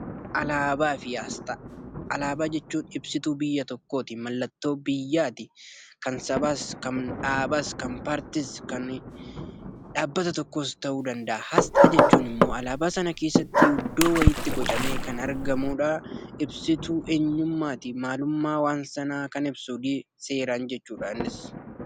Alaabaa fi aasxaa. Alaabaa jechuun ibsituu biyya tokkooti. Mallattoo biyyaati. Kan sabaas, kan dhaabaas, kan paartiis, kan dhaabbata tokkos ta'uu danda'a. Asxaa jechuun immoo alaabaa sana keessatti iddoo wayiitti bocamee kan argamudhaa. Ibsituu eenyummaati. Maalummaa waan sanaa kan ibsu jechuudha seeraan innis .